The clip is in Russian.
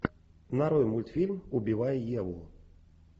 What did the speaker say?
нарой мультфильм убивая еву